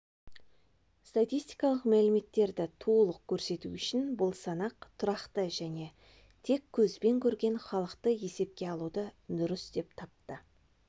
статистикалық мәліметтердің толық көрсету үшін бұл санақ тұрақты және тек көзбен көрген халықты есепке алуды дұрыс деп тапты